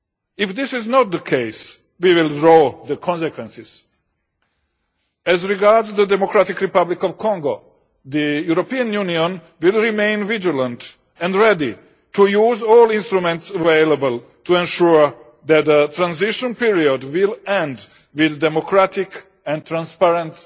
If this is not the case, we will draw the consequences. As regards the Democratic Republic of Congo, the European Union will remain vigilant and ready to use all instruments available to ensure that a transition period will end with democratic and transparent